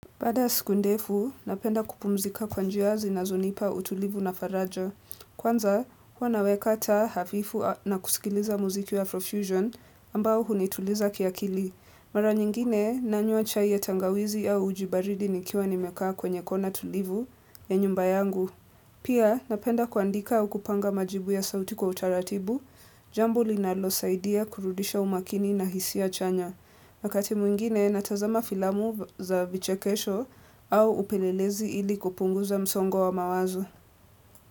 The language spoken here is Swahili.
Baada ya siku ndefu napenda kupumzika kwa njia zinazonipa utulivu na faraja kwanza huwa naweka taa hafifu na kusikiliza muziki wa flow fusion ambao hunituliza kiakili mara nyingine nanywa chai ya tangawizi au uji baridi nikiwa nimekaa kwenye kona tulivu ya nyumba yangu pia napenda kuandika au kupanga majibu ya sauti kwa utaratibu jambo linalosaidia kurudisha umakini na hisia chanya wakati mwingine natazama filamu za vichekesho au upelelezi ili kupunguza msongo wa mawazo.